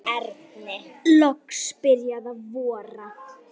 Loks byrjaði að vora.